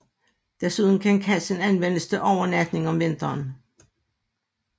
Desuden kan kassen anvendes til overnatning om vinteren